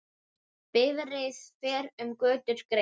Bifreið fer um götur greitt.